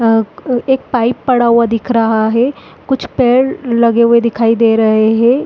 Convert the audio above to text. अ क एक पाइप पड़ा हुआ दिख रहा है कुछ पेड़ लगे हुए दिखाई दे रहे हैं।